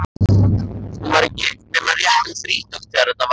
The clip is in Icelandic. Hún var ekki nema rétt um þrítugt þegar þetta var.